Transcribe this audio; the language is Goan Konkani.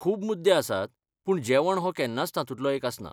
खूब मुद्दे आसात पूण जेवण हो केन्नाच तातूंतलो एक आसना.